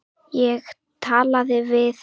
Ég talaði við